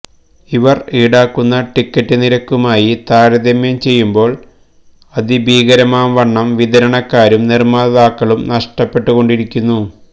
അവര് ഈടാക്കുന്ന ടിക്കറ്റുനിരക്കുമായി താരതമ്യം ചെയ്യുമ്പോള് അതിഭീകരമാം വണ്ണം വിതരണക്കാരും നിര്മ്മാതാക്കളും നഷ്ടപ്പെട്ടുകൊണ്ടിരിക്കുന്നു